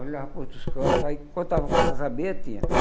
Olhava para outros cantos, aí contava quantas abelhas tinha.